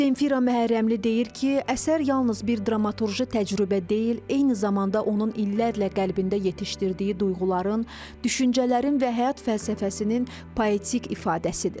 Zenfira Məhərrəmli deyir ki, əsər yalnız bir dramaturji təcrübə deyil, eyni zamanda onun illərlə qəlbində yetişdirdiyi duyğuların, düşüncələrin və həyat fəlsəfəsinin poetik ifadəsidir.